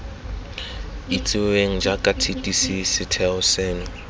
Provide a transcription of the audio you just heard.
itsiweng jaaka tdc setheo seno